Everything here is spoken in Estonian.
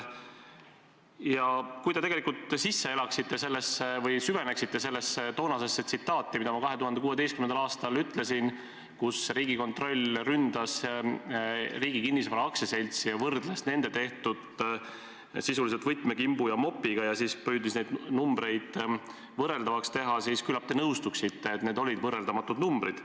Aga kui te tegelikult süveneksite sellesse tsitaati, mis ma 2016. aastal ütlesin, pidades silmas seda, et Riigikontroll ründas Riigi Kinnisvara Aktsiaseltsi ja võrdles nende tehtut sisuliselt võtmekimbu ja mopiga ja püüdis neid numbreid võrreldavaks teha, siis küllap te nõustuksite, et need olid võrreldamatud numbrid.